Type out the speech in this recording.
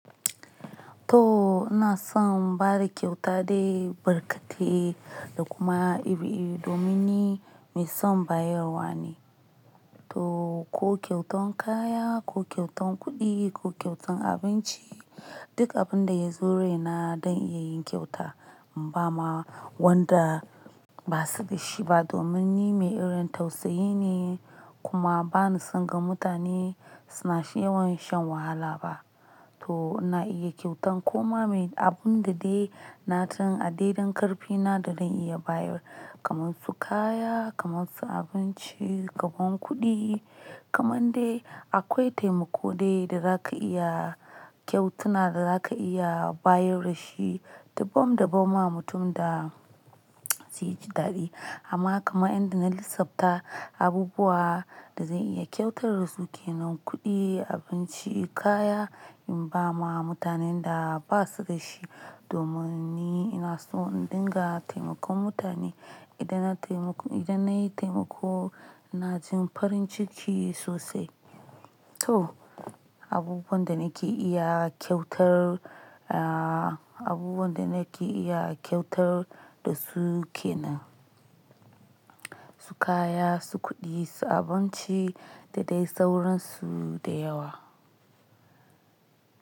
To ina son bada kyauta dai barkate da kuma iri-iri domin ni mai son bayarwa ne. To ko kyautan kaya, ko kyautan kuɗi, ko kyautan abinci duk abinda ya zo raina zan iya yin kyauta in bama wanda basu da shi ba domin ni mai irin tausayi ne kuma bani son ga mutane suna yawan shan wahala ba. To na iya kyautan koma me. Abinda dai na sani a daiɗan karfina da zan iya bayar. Kamansu kaya, kamansu abinci, kamon kuɗi kaman dai akwai taimako dai da zaka iya kyautana da zaka iya bayar da shi. Dubban da bam ma mutum da zai ji daɗi amma kama inda na lissafta abubuwa da zan iya kyautar da suke nan kuɗi, abinci, kaya in bama mutanen da basu da shi domin ni ina so in dinga taimakon mutane. Idan na taimake idan nayi taimako ina jin farin ciki sosai. To abubuwan da nake iya kyautar aa abubuwan da nake iya kyautar da suke nan su kaya, su kuɗi, su abinci da dai sauransu da yawa.